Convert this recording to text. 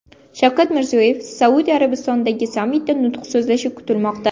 Shavkat Mirziyoyev Saudiya Arabistonidagi sammitda nutq so‘zlashi kutilmoqda .